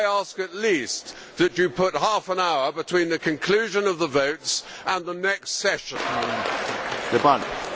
Could I ask at least that you put half an hour between the conclusion of the votes and the next part of the sitting.